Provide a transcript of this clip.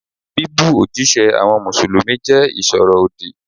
Bíbú òjíṣẹ́ àwọn Mùsùlùmí jẹ́ ìsọ̀rọ̀ òdì.